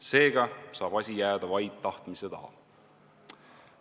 Seega saab asi jääda vaid tahtmise taha.